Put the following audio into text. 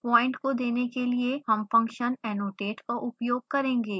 point को देने के लिए हम function annotate का उपयोग करेंगे